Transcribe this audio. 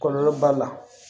Kɔlɔlɔ b'a la